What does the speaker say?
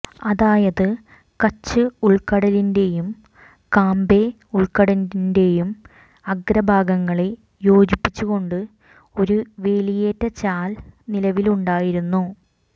അതായത് കച്ച് ഉൾക്കടലിന്റേയും കാംബേ ഉൾക്കടലിന്റേയും അഗ്രഭാഗങ്ങളെ യോജിപ്പിച്ചുകൊണ്ട് ഒരു വേലിയേറ്റചാൽ നിലവിലുണ്ടായിരുന്നു